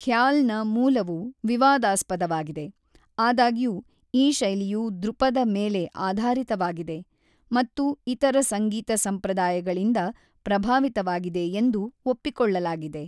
ಖ್ಯಾಲ್‌ನ ಮೂಲವು ವಿವಾದಾಸ್ಪದವಾಗಿದೆ, ಆದಾಗ್ಯೂ ಈ ಶೈಲಿಯು ದ್ರುಪದ ಮೇಲೆ ಆಧಾರಿತವಾಗಿದೆ ಮತ್ತು ಇತರ ಸಂಗೀತ ಸಂಪ್ರದಾಯಗಳಿಂದ ಪ್ರಭಾವಿತವಾಗಿದೆ ಎಂದು ಒಪ್ಪಿಕೊಳ್ಳಲಾಗಿದೆ.